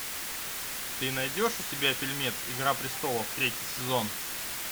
ты найдешь у себя фильмец игра престолов третий сезон